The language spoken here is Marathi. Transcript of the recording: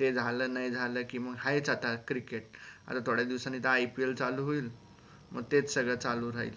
ते झाल नाय झाल कि म आहेच आता cricket आता थोड्या दिवसांनी त IPL चालू होईल म तेच सगळ चालू राहील